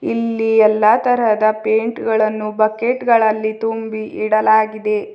ಇಲ್ಲಿ ಎಲ್ಲಾ ತರಹದ ಪೈಂಟ್ ಗಳನ್ನು ಬಕೆಟ್ ಗಳಲ್ಲಿ ತುಂಬಿ ಇಡಲಾಗಿದೆ.